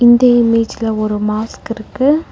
இந்த இமேஜ்ல ஒரு மாஸ்க் இருக்கு.